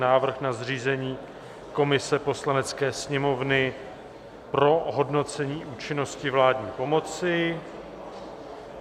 Návrh na zřízení komise Poslanecké sněmovny pro hodnocení účinnosti vládní pomoci